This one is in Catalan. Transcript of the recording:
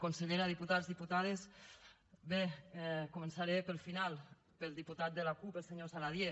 consellera diputats diputades bé començaré pel final pel diputat de la cup el senyor saladié